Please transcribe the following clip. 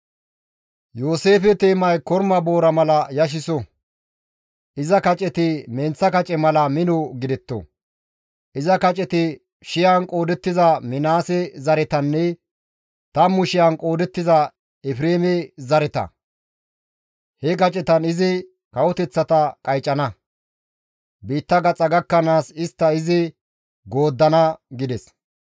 Yooseefe teemay korma boora mala yashiso; iza kaceti menththa kace mala mino gidetto; iza kaceti shiyan qoodettiza Minaase zaretanne tammu shiyan qoodettiza Efreeme zareta; he kacetan izi kawoteththata qaycana; biitta gaxa gakkanaas istta izi gooddana» gides.